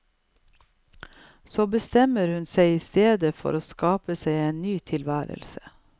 Så bestemmer hun seg i stedet for å skape seg en ny tilværelse.